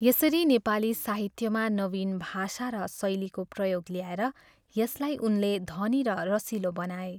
यसरी नेपाली साहित्यमा नवीन भाषा र शैलीको प्रयोग ल्याएर यसलाई उनले धनी र रसिलो बनाए।